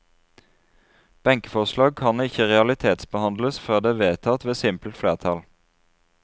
Benkeforslag kan ikke realitetsbehandles før det er vedtatt ved simpelt flertall.